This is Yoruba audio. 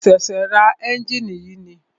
Mo ṣẹ̀ṣẹ̀ ra ẹ́njìnì yìí ni.